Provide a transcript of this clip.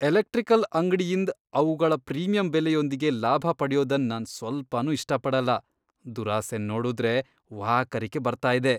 Electrical ಅಂಗ್ಡಿಯಿಂದ್ ಅವುಗಳ premium ಬೆಲೆಯೊಂದಿಗೆ ಲಾಭ ಪಡ್ಯೋದನ್ ನಾನ್ ಸ್ವಲ್ಪನೂ ಇಷ್ಟ ಪಡಲ್ಲ. ದುರಾಸೆನ್ ನೋಡುದ್ರೆ ವಾಕರಿಕೆ ಬರ್ತಾ ಇದೆ,